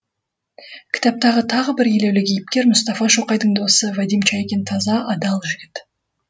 кітаптағы тағы бір елеулі кейіпкер мұстафа шоқайдың досы вадим чайкин таза адал жігіт